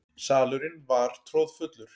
Salurinn var troðfullur.